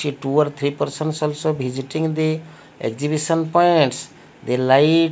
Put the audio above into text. a two or three persons also visiting the exhibition points the light --